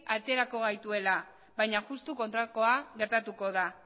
aterako gaituela baina justu kontrakoa gertatuko da